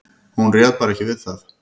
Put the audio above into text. Hún réð bara ekki við það.